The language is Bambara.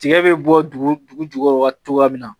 Tiga bɛ bɔ dugu dugu jukɔrɔ la cogoya min na